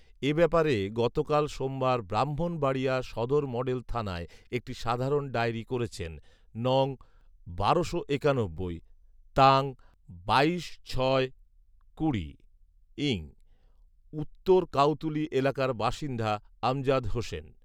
এ ব্যাপারে গতকাল সোমবার ব্রাহ্মণবাড়িয়া সদর মডেল থানায় একটি সাধারণ ডায়েরি করেছেন নং. বারোশো একানব্বই তাং. বাইশ ছয় কুড়ি ইং. উত্তর কাউতুলি এলাকার বাসিন্দা আমজাদ হোসেন